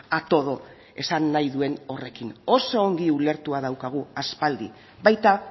a todo esan nahi duen horrekin oso ongi ulertua daukagu aspaldi baita